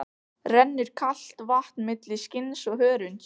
Rennur kalt vatn milli skinns og hörunds.